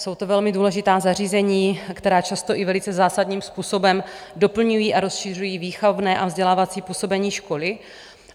Jsou to velmi důležitá zařízení, která často i velice zásadním způsobem doplňují a rozšiřují výchovné a vzdělávací působení školy.